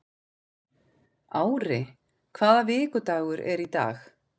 Ári, hvaða vikudagur er í dag?